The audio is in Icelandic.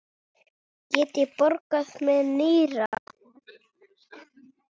Get ég borgað með nýra?